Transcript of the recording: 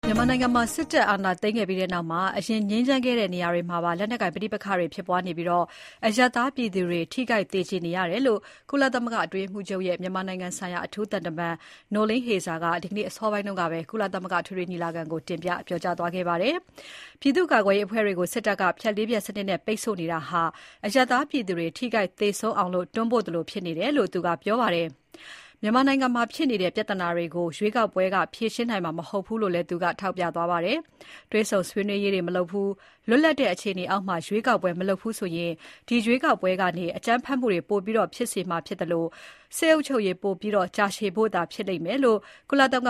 မြန်မာနိုင်ငံမှာ စစ်အာဏာသိမ်းခဲ့ပြီးနောက် အရင်ငြိမ်းချမ်းခဲ့တဲ့ နေရာတွေမှာပါ လက်နက်ကိုင် ပဋိပက္ခတွေ ဖြစ်ပွားနေပြီး အရပ်သားပြည်သူတွေ ထိခိုက်သေကြေနေရတယ်လို့ ကုလသမဂ္ဂအတွင်းရေးမှူးချုပ်ရဲ့ မြန်မာနိုင်ငံဆိုင်ရာ အထူးသံတမန် Noeleen Heyzer က ဒီနေ့ ကြာသပတေးနေ့ အစောပိုင်းကပဲ ကုလသမဂ္ဂအထွေထွေညီလာခံမှာ တင်ပြပြောကြားသွားခဲ့ပါတယ်။ ပြည်သူ့ကာကွယ်ေးအဖွဲ့တွေကို စစ်တပ်က ဖြတ် ၄ ဖြတ်စနစ်နဲ့ ပိတ်ဆို့နေတာက အရပ်သားပြည်သူတွေ ထိခိုက်သေဆုံးအောင် တွန်းပို့သလိုဖြစ်နေတယ်လို့ သူက ပြောပါတယ်။ မြန်မာနိုင်ငံမှာဖြစ်နေတဲ့ ပြဿနာတွေကို ရွေးကောက်ပွဲက ဖြေရှင်းနိုင်မှာ မဟုတ်ဘူးလို့လည်း ထောက်ပြသွားခဲ့ပါတယ်။ တွေ့ဆုံဆွေးနွေးပွဲတွေ မလုပ်ဘူး၊ လွတ်လပ်တဲ့ အခြေအနေအောက်မှာ ရွေးကောက်ပွဲ မလုပ်ဘူးဆိုရင် ဒီရွေးကောက်ပွဲကနေ အကြမ်းဖက်မှုတွေ ပိုဖြစ်စေနိုင်သလို၊ စစ်အုပ်ချုပ်ရေး ပိုပြီး ကြာရှည်ဖို့သာ ဖြစ်စေလိမ့်မယ်လို့ ကုလသမဂ